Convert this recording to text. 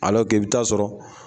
i bɛ taa sɔrɔ.